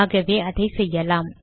ஆகவே அதை செய்யலாம்